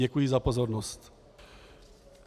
Děkuji za pozornost.